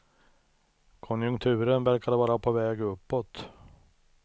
Konjunkturen verkade vara på väg uppåt.